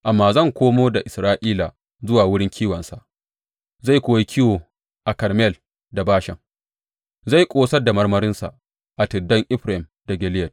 Amma zan komo da Isra’ila zuwa wurin kiwonsa zai kuwa yi kiwo a Karmel da Bashan; zai ƙosar da marmarinsa a tuddan Efraim da Gileyad.